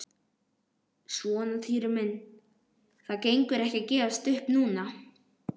Svona Týri minn, það gengur ekki að gefast upp núna.